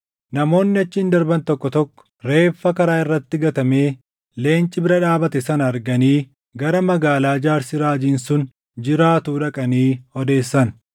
Namoonni achiin darban tokko tokko reeffa karaa irratti gatamee leenci bira dhaabate sana arganii gara magaalaa jaarsi raajiin sun jiraatuu dhaqanii odeessan.